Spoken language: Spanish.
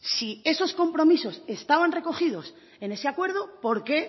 si esos compromisos estaban recogidos en ese acuerdo por qué